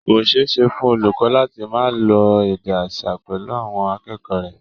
Kò ṣeé ṣe fún olùkọ́ láti máa lo èdè aṣa pẹ̀lú àwọn akẹ́kọ̀ọ́ rẹ̀